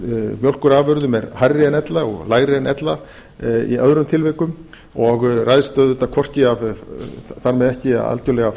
einhverjum mjólkurafurðum er hærri en ella og lægri en ella í öðrum tilvikum og ræðst auðvitað þar með hvorki algjörlega af